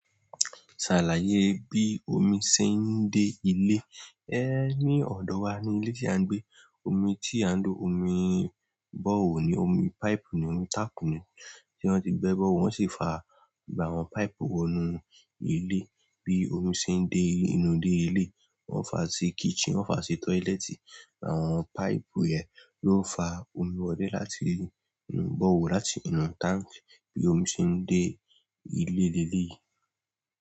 Ṣàlàyé bí omi ṣe ń dé ilé. Ẹh ní ọ̀dọ̀ wa ní ilé tí à ń gbé. Omi tí à ń lo, omi bọ́rehole ni, omi páìpù ni, omi tápù ni. Ti won ti gbe borehole, won si faa gbogbo àwọn pipe wo inú ile bí omi ṣe ń dé ile inú dé ilé, wọn fa sí kitchen, wọn fa sí tọ́ílẹ́ẹ̀tì. Àwọn páìpù yẹn ló ń fa omi wọlé láti borehole, láti inú táǹkì, bí omi ṣe ń dé ilé lele yìí.